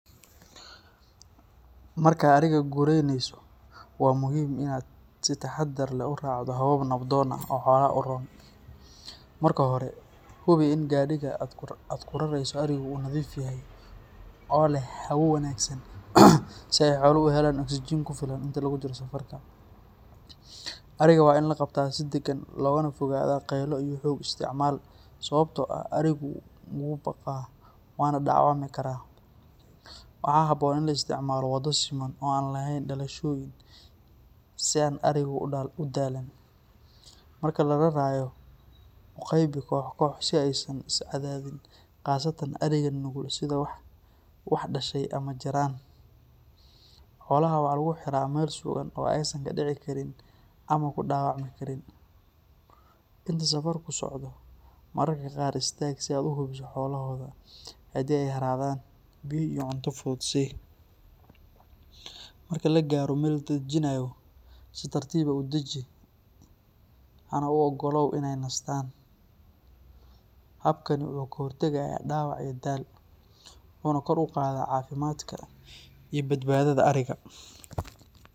Markaad ariga gureyneyso, waa muhiim inaad si taxaddar leh u raacdo habab nabdoon oo xoolaha u roon. Marka hore, hubi in gaadhiga aad ku rarayso arigu uu nadiif yahay oo leh hawo wanaagsan si ay xooluhu u helaan oksijiin ku filan inta lagu jiro safarka. Ariga waa in la qabtaa si deggan, loogana fogaadaa qaylo iyo xoog isticmaal, sababtoo ah arigu wuu baqaa waana dhaawacmi karaa. Waxaa habboon in la isticmaalo waddo siman oo aan lahayn dalooshooyin si aan arigu u daalin. Marka la rarayo, u qaybi koox-koox si aysan isu cadaadin, khaasatan ariga nugul sida wax dhashay ama jirran. Xoolaha waxaa lagu xiraa meel sugan oo aysan ka dhici karin ama ku dhaawacmi karin. Inta safarku socdo, mararka qaar istaag si aad u hubiso xaaladooda, haddii ay haraadaan, biyo iyo cunto fudud sii. Marka la gaaro meel la dejinayo, si tartiib ah u daji, hana u ogolow inay nastaan. Habkani wuxuu ka hortagayaa dhaawac iyo daal, wuxuuna kor u qaadaa caafimaadka iyo badbaadada ariga.